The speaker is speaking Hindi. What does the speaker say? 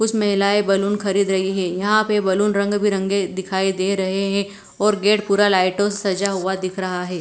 कुछ महिलाएं बैलून खरीद रही है यहां पर बैलून रंग बिरंगे दिखाई दे रहे हैं और गेट पूरा लाइटो से सजा हुआ दिख रहा है।